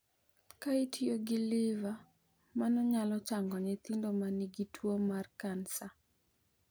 Ka itiyo gi liver, mano nyalo chango nyithindo ma nigi tuo mar kansa.